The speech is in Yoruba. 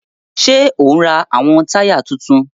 Ṣe o n rá awọn taya títún?